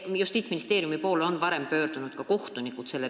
Justiitsministeeriumi poole on selle teemaga varem pöördunud ka kohtunikud.